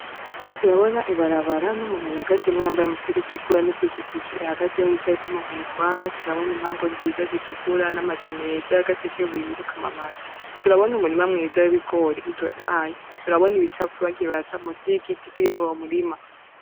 Turabona ibarabara n’umuntu arihagazemwo yambaye umupira utukura n’ipikipiki ihagazeho yicayeko umuntu ayitwara, turabona impango nziza zitukura n’amazu meza ya gasekubuye ariko amabati, turabona umurima mwiza w’ibigori utotahahe, turabona ibicafu bagiye barata musi y’igiti kiri muri uwo murima.